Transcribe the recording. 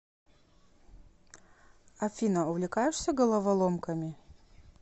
афина увлекаешься головоломками